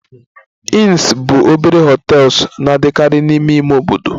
Inns bụ obere hotels na-adịkarị n'ime ime obodo